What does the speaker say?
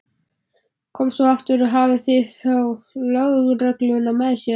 Kom svo aftur og hafði þá lögregluna með sér.